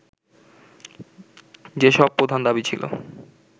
যেসব প্রধান দাবি ছিল